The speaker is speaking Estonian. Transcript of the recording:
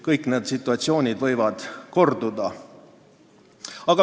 Kõik need situatsioonid võivad korduda.